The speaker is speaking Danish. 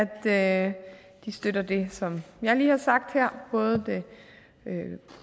at de støtter det som jeg lige har sagt her både det